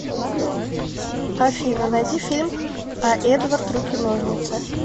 афина найти фильм а эдвард руки ножницы